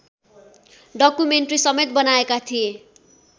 डकुमेन्ट्रीसमेत बनाएका थिए